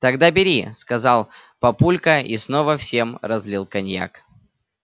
тогда бери сказал папулька и снова всем разлил коньяк